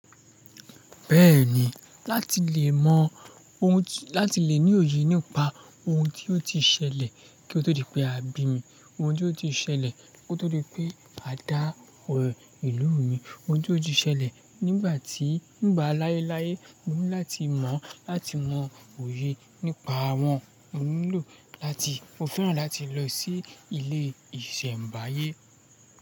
Bẹ́ẹ̀ni, láti lè mọ ohun tí, láti lè ní òye nípa ohun tí ó ti ṣẹlẹ̀ kí ó tó di pé a bí mi, ohun tí ó ti ṣẹlẹ̀ kí ó tó di pé a dá ọ̀rẹ́ ìlú mi, ohun tí ó ti ṣẹlẹ̀ nígbà tí, nígbà láéláé, mo ní láti mọ̀, láti mọ òye nípa wọn. Mo nílò láti, mo fẹ́ràn láti lọ sí ilé ìsẹ̀mbáyé.